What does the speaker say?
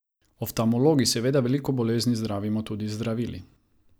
Oftalmologi seveda veliko bolezni zdravimo tudi z zdravili.